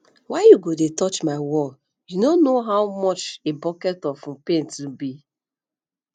why you go dey touch my wall you know how much a bucket of um paint um be